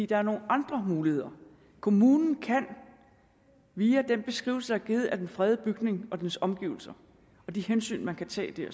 der er nogle andre muligheder kommunen kan via den beskrivelse der er givet af den fredede bygning og dens omgivelser og de hensyn man kan tage